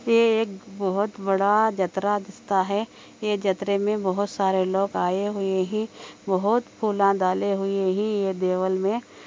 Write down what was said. ये एक बहुत बड़ा जतरा डिस्टा हे ये जतरे में बहुत सरे लोग आ रहे हे बहुत पूला डेल ही ये देवल में |